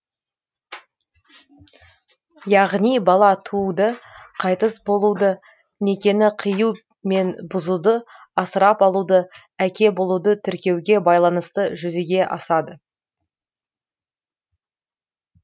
яғни бала тууды қайтыс болуды некені қию мен бұзуды асырап алуды әке болуды тіркеуге байланысты жүзеге асады